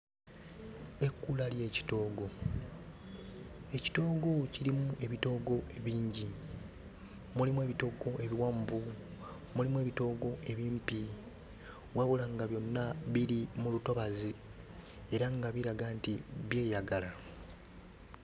Ekkula ly'ekitoogo. Ekitoogo kirimu ebitoogo bingi. Mulimu ebitoogo ebiwanvu, mulimu ebitoogo ebimpi, wabula nga byonna biri mu lutobazi era nga biraga nti byeyagala.